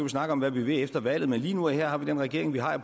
snakke om hvad vi vil efter valget men lige nu og her har vi den regering vi har jeg